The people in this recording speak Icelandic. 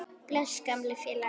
Bless, gamli félagi.